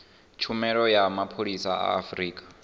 tshumelo ya mapholisa a afurika